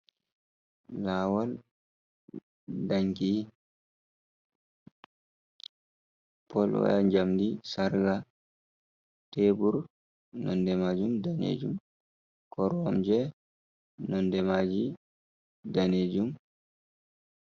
Lawol danki polwaya jamdi sarga tebur nonde majum danejum koromje nonde maji danejum.